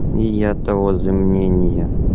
и я того же мнения